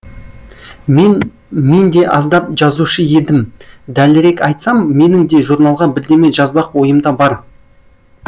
мен мен де аздап жазушы едім дәлірек айтсам менің де журналға бірдеме жазбақ ойымда бар